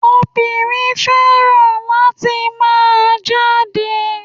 Obìnrin fẹ́ràn àti máa jáde